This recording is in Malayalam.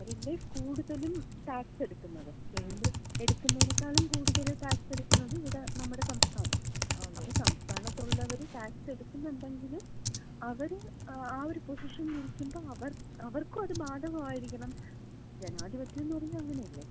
അവരല്ലേ കൂടുതലും ടാക്സ് എടുക്കുന്നത്. കേന്ദ്രം എടുക്കുന്നതിനേക്കാളും കൂടുതല് ടാക്സ് എടുക്കുന്നത് ഇവിടെ നമ്മുടെ സംസ്ഥാനമാണ്. അപ്പൊ സംസ്ഥാനത്തുള്ളവര് ടാക്സ് എടുക്കുന്നുണ്ടെങ്കില് അവര് ആ ഒരു പൊസിഷനിലിരിക്കുമ്പോ അവർക്കും അത് ബാധകമായിരിക്കണം. ജനാധിപത്യംന്ന് പറഞ്ഞാ അങ്ങനെയല്ലേ?